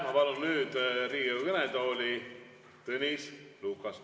Ma palun nüüd Riigikogu kõnetooli Tõnis Lukase.